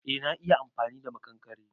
Eh na iya amfani da makankare.